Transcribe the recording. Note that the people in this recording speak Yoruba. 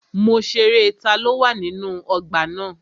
Mo ṣerẹ́ taló wà nínú ọgbà na.